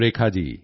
thank you ਸਿਰ